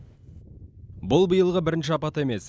бұл биылғы бірінші апат емес